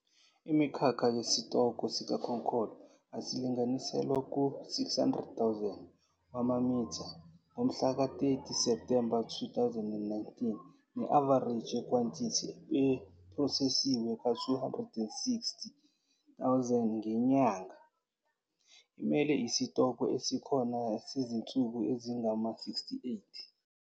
Imikhakha yesitoko sikakolo asilinganiselwa ku-600 000 amamitha ngomhlaka-30 Septhemba 2019, ne-avareji yekhwantithi ephrosesiwe ka-260 000 ngenyanga, imele isitokwe esikhona sezinsuku ezingama-68.